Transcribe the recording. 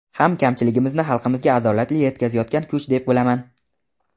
ham kamchiligimizni xalqimizga adolatli yetkazayotgan kuch deb bilaman.